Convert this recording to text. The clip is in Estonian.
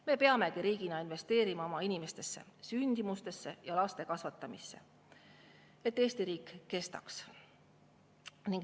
Me peamegi riigina investeerima oma inimestesse, sündimusse ja laste kasvatamisse, et Eesti riik kestaks.